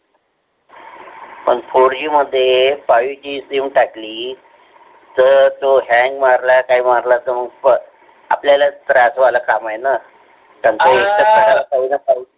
fourG मध्ये fiveG ची sim टाकली. तर तो fiveG मारणार काय मारला तर बस आपल्याला वागण्याचं काम आहे ना